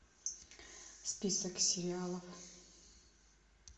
список сериалов